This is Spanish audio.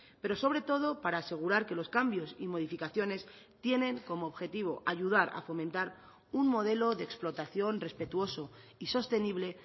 pero sobre todo para asegurar que los cambios y modificaciones tienen como objetivo ayudar a fomentar un modelo de explotación respetuoso y sostenible